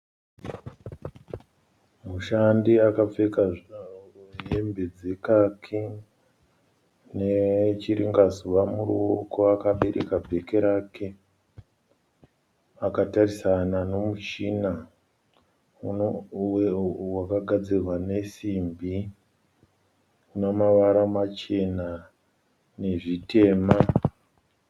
Mushandi akapfeka hembe dzekaki nechiringazuva muruoko akabereka bheke rake. Akatarisana nemuchina wakagadzirwa nemasimbi une mavara machena nezvitema.